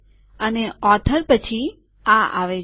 અને લેખક પછી આ આવે છે